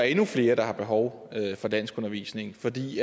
endnu flere der har behov for danskundervisning fordi